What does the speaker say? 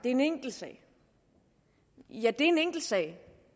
en enkeltsag ja det er en enkeltsag